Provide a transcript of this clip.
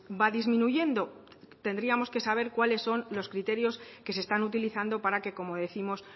va disminuyendo tendríamos que saber cuáles son los criterios que se están utilizando para que como décimos